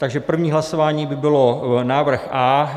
Takže první hlasování by byl návrh A.